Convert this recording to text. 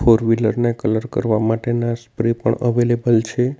Four wheeler ને colour કરવા માટેના સ્પ્રે પણ અવેલેબલ છે.